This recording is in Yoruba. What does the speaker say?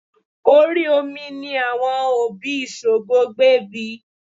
Orí omi ní àwọn òbí Ṣògo gbé bí i